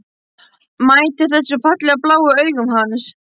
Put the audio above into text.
Mætir þessum fallegu, bláu augum hans.